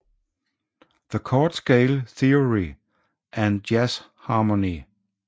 The Chord Scale Theory and Jazz Harmony